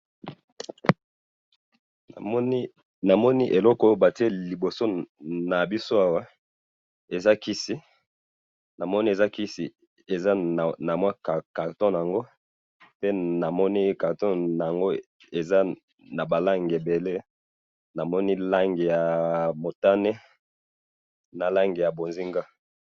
Na moni eloko bati liboso na biso awa eza kisi, eza na mwa carton bango, pe na moni carton nango eza na balangi ebele, na moni langi ya motane na langue ya bozinga.